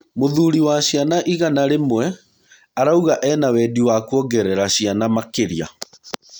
Mũthuri wa ciana igana rĩmwe arauga ena wendi wa kuongerera ciana makĩria.